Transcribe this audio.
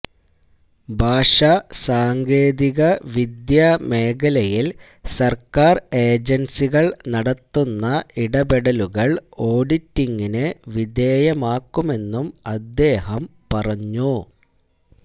ഭാഷാസാങ്കേതികവിദ്യാ മേഖലയിൽ സർക്കാർ ഏജൻസികൾ നടത്തുന്ന ഇടപെടലുകൾ ഓഡിറ്റിങ്ങിനു വിധേയമാക്കുമെന്നും അദ്ദേഹം പറഞ്ഞു